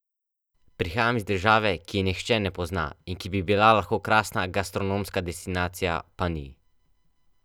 Prihajam iz države, ki je nihče na pozna in ki bi bila lahko krasna gastronomska destinacija, pa ni.